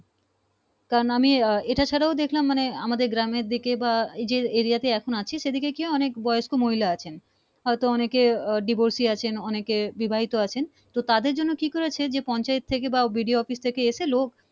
আমি এটা ছাড়া দেখলাম মানে আমাদের গ্রামের দিকে বা এই যে Area তে এখন আছিস সে দিকে কি অনেক বয়স্ক মহিলা আছেন হয়তো অনেকে divorce অনেক এ বিবাহিত আছেন তো তাদের জন্য কি করেছে যে পঞ্চায়েত থেকে বা বিডিও office থেকে